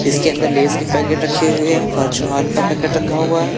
इसके अंदर लेज के पैकेट रखे हुए है फॉर्चून ऑयल का पैकेट रखा हुआ है।